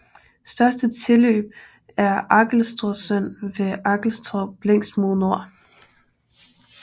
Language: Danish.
Største tilløb er Arkelstorpsån ved Arkelstorp længst mod nord